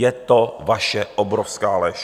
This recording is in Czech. Je to vaše obrovská lež.